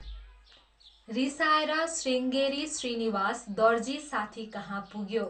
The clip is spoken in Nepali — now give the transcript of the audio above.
रिसाएर श्रीङ्गेरी श्रीनिवास दर्जी साथीकहाँ पुग्यो।